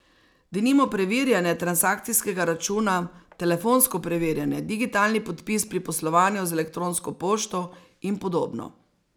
Denimo preverjanje transakcijskega računa, telefonsko preverjanje, digitalni podpis pri poslovanju z elektronsko pošto in podobno.